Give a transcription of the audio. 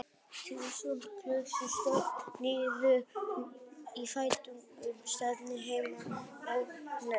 Thomas Huxley sökkti sér niður í fræðirit um sagnfræði, heimspeki og náttúrufræði.